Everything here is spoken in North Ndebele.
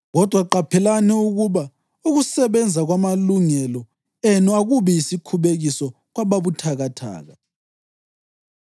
Kodwa qaphelani ukuba ukusebenza kwamalungelo enu akubi yisikhubekiso kwababuthakathaka.